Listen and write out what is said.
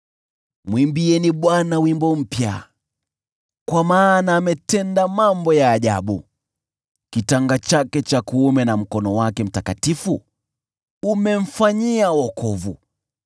Mwimbieni Bwana wimbo mpya, kwa maana ametenda mambo ya ajabu; kitanga chake cha kuume na mkono wake mtakatifu umemfanyia wokovu.